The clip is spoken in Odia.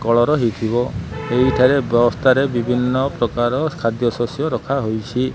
କଳର ହେଇଥିବ। ଏଇ ଟାରେ ବକ୍ସ ଟାରେ ବିଭିନ୍ନ ପ୍ରକାର ଖାଦ୍ୟଶସ୍ୟ ରଖାହୋଇଛି।